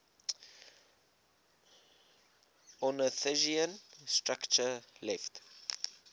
ornithischian structure left